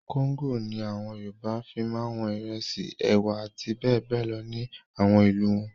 Kóńgò ni àwọn Yorùbá fi máa wọn ìrẹsì, ẹ̀wà àti bẹ́ẹ̀ bẹ́ẹ̀ lọ ní àwọn ìlú wọn.